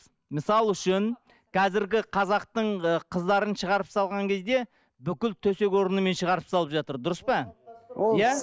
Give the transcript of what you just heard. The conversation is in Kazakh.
мысал үшін қазіргі қазақтың ы қыздарын шығарып салған кезде бүкіл төсек орнымен шығарып салып жатыр дұрыс па иә